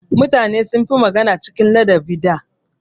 Mutane sun fi magana cikin ladabi da.